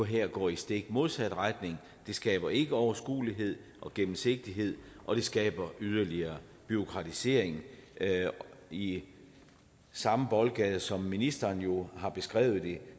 her går i stik modsat retning det skaber ikke overskuelighed og gennemsigtighed og det skaber yderligere bureaukratisering i samme boldgade som ministeren nu har beskrevet det